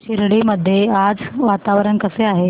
शिर्डी मध्ये आज वातावरण कसे आहे